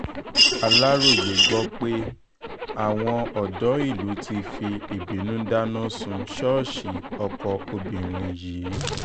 aláròye gbọ́ pé àwọn ọ̀dọ́ ìlú ti fi ìbínú dáná sun ṣọ́ọ̀ṣì ọkọ obìnrin yìí